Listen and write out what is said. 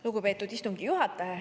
Lugupeetud istungi juhataja!